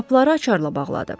Qapıları açarla bağladı.